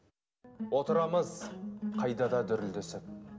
отырамыз қайда да дүрілдесіп